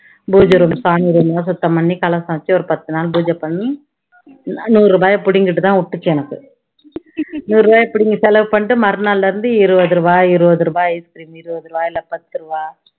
பூஜை room சாமி room லாம் சுத்தம் பண்ணி கலசம் வச்சு ஒரு பத்து நாள் பூஜை பண்ணி நூறு ரூபாயை புடிங்கிட்டு தான் விட்டுச்சு எனக்கு நூறு ரூபாய் புடிங்கி செலவு பண்ணிட்டு மறுநாளில இருந்து இருவது ரூவா, இருவது ரூவா ice cream இருவது ரூவா இல்ல பத்து ரூவா